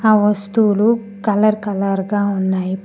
ఆ వస్తువులు colour colour గా ఉన్నాయి.